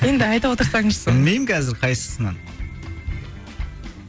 енді айта отырсаңызшы білмеймін қазір қайсысынан